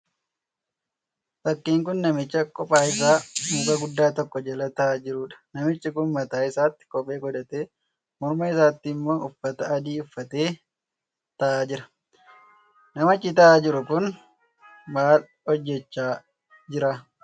Fakkiin kun namicha qophaa isaa muka guddaa tokko jala ta'aa jiruudha. Namichi kun mataa isaatti kophee godhatee morma isaatti immoo uffata adii uffatee ta'aa jira. Namichi ta'aa jiru kun maal hojjechaa jira?